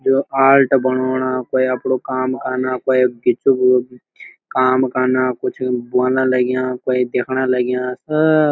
यो ऑल्ट बनोणा क्वे अपडू काम कन्ना क्वे काम कन्ना कुछ ब्वन लग्याँ क्वे देखण लग्याँ। अ